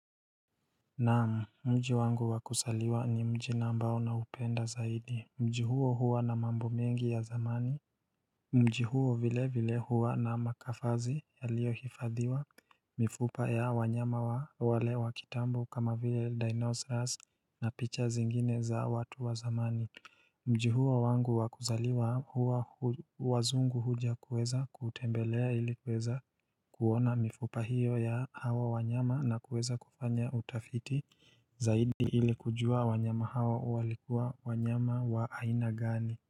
Naam mji wangu wakusaliwa ni mji ambao naupenda zaidi mji huo huwa na mambo mengi ya zamani Mji huo vile vile huwa na makafazi yaliohifadhiwa mifupa ya wanyama wale wa kitambo kama vile dinosaurus na picha zingine za watu wa zamani Mji huu huwa wangu wa kuzaliwa huwa wazungu huja kueza kutembelea ili kueza kuona mifupa hiyo ya hawa wanyama na kueza kufanya utafiti zaidi ili kujua wanyama hawa walikuwa wanyama wa aina gani.